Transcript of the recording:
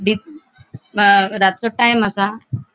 अ रातचो टाइम आसा.